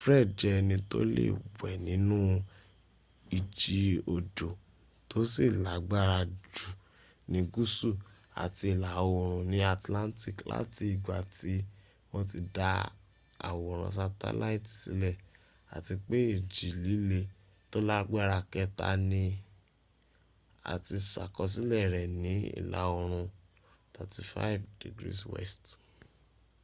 fred jẹ́ ẹni tó lé wẹ́ nínu ìjì òjò tó sì lágbára jù ní gúsù àti ìla oòrùn ní atlantic láti ìgbà tí wọ́n ti dá àwòrán sátẹ́láìtì sílẹ̀ àti pé ìjì líle tó lágbára kẹta ní a ti sàkọsílẹ̀ rẹ̀ ní ìla oòrùn 35°w